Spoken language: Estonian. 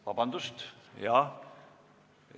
Vabandust!